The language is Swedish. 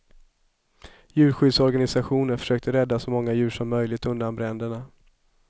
Djurskyddsorganisationer försökte rädda så många djur som möjligt undan bränderna.